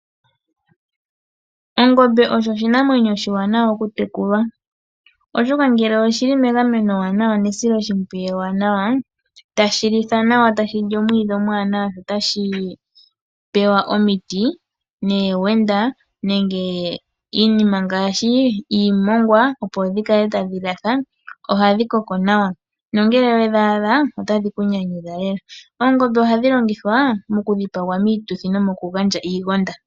Ongombe osho oshinamwenyo oshiwanawa okutekulwa. Oshoka ngele oshili megameno ewanawa nesiloshimpwiyu ewanawa, tashi litha nawa tashi li omwiidhi omwaanawa, sho tashi pewa omiti noowenda nenge iinima ngaashi iimongwa opo dhi kale tadhi latha, ohadhi koko nawa nongele wedhaadha otadhi ku nyanyudha lela. Oongombe ohadhi longithwa mokudhipagwa miituthi nomokugandja iigonda.